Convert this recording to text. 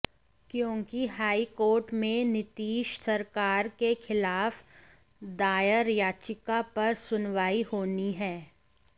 क्योंकि high court में नीतीश सरकार के खिलाफ दायर याचिका पर सुनवाई होनी है